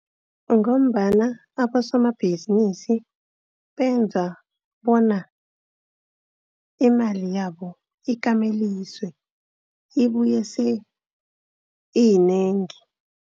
Ngombana abosomabhizinisi benza bona imali yabo ikameliswe ibuye iyinengi.